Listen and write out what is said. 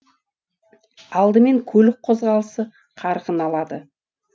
алдымен көлік қозғалысы қарқын алады